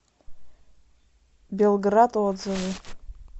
белград отзывы